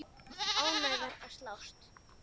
Ánægðar að sjást.